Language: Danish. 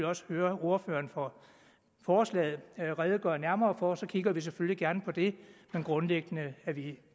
også høre ordføreren for forslaget redegøre nærmere for og så kigger vi selvfølgelig gerne på det men grundlæggende er vi